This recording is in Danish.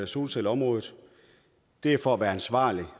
solcelleområdet det er for at være ansvarlige